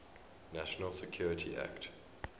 national security act